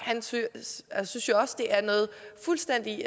synes jo også det er en fuldstændig